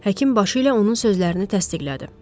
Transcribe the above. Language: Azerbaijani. Həkim başı ilə onun sözlərini təsdiqlədi.